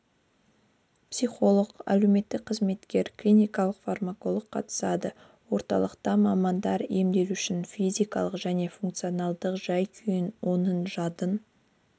психолог әлеуметтік қызметкер клиникалық фармаколог қатысады орталықта мамандар емделушінің физикалық және функционалдық жай-күйін оның жадын